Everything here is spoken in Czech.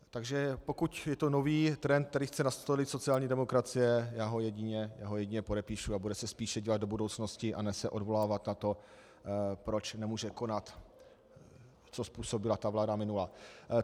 Takže pokud je to nový trend, který chce nastolit sociální demokracie, já ho jedině podepíšu, a bude se spíše dívat do budoucnosti a ne se odvolávat na to, proč nemůže konat, co způsobila ta vláda minulá.